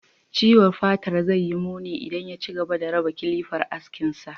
Ciwon fatar zai yi muni idan ya ci gaba da raba kilafar askinsa.